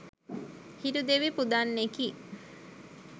හිරු දෙවි පුදන්නෙකි.